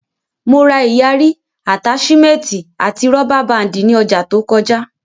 Mo ra ìyarí, àtáṣímẹ́ẹ̀tì àti rọ́bà báàndì ní ọjà to kọjá